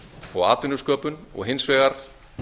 og atvinnusköpun og hins vegar